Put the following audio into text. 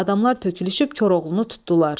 Adamlar tökülüşüb Koroğlunu tutdular.